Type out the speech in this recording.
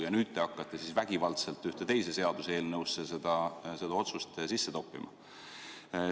Ja nüüd te hakkate vägivaldselt ühte teise seaduseelnõusse seda otsust sisse toppima.